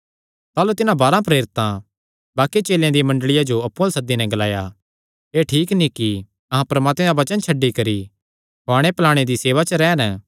ताह़लू तिन्हां बारांह प्रेरितां बाक्कि चेलेयां दी मंडल़िया जो अप्पु अल्ल सद्दी नैं ग्लाया एह़ ठीक नीं कि अहां परमात्मे दा वचन छड्डी करी खुआणे पलाणे दी सेवा च रैह़न